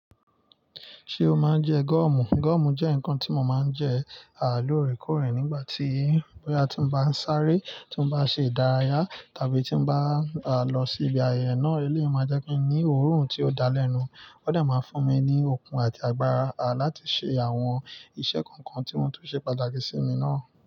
Ṣé o máa ń je goomu? Goomu je ǹkan ti mo máa ń je lóòrèkóòrè nígbà ti bóyá tin bá n sáré ti n bá n ṣe ìdárayá tàbí tin bá lo si ibi ayẹyẹ náà eléyi máa jẹ́ kí n ní oòrùn tí ó dá lẹ́nu, ó dà máa fún mi ní okun àti agbára láti ṣe àwọn iṣẹ́ kankan tí ó tún ṣe pàtàkì sí mi náà.